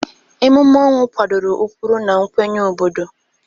Emume ọnwụ kwadoro ụkpụrụ na nkwenye obodo.